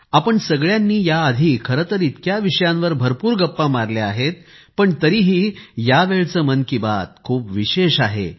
आपण सगळ्यांनी याआधी खरंतर इतक्या विषयांवर भरपूर गप्पा मारल्या आहेत पण तरीही यावेळचं मन की बात खूप विशेष आहे